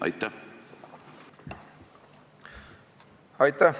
Aitäh!